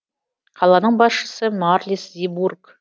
қаланың басшысы марлис зибург